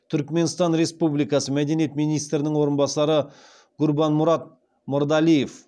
түркіменстан республикасы мәдениет министрінің орынбасары гурбанмұрад мырадалиев